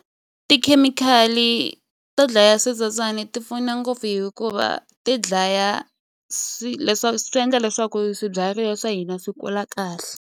Tikhemikhali to dlaya switsotswani ti pfuna ngopfu hikuva ti dlaya leswaku swi endla leswaku swibyariwa swa hina swi kula kahle.